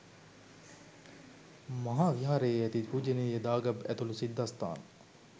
මහා විහාරයේ ඇති පූජනීය දාගැබ් ඇතුළු සිද්ධස්ථාන